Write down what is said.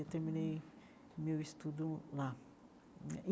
Eu terminei meu estudo lá né.